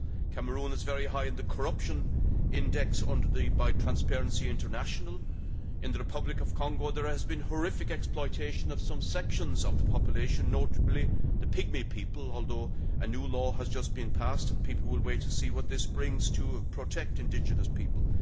Cameroon is very high in the Corruption Index kept by Transparency International, and in the Republic of Congo, there has been horrific exploitation of some sections of the population, notably the pygmy people, although a new law has just been passed and people will wait to see what this does to protect indigenous people.